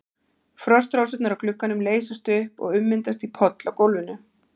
Frostrósirnar á glugganum leysast upp og ummyndast í poll á gólfinu.